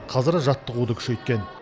қазір жаттығуды күшейткен